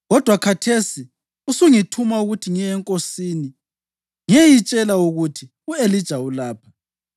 Kodwa khathesi usungithuma ukuthi ngiye enkosini ngiyeyitshela ukuthi, ‘U-Elija ulapha.’